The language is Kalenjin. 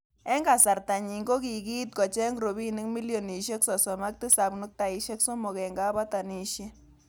Eng kasarta nyi kokiit kocheng robinik milionishek sosom ak tisab nuktaishek somok eng kabatishet.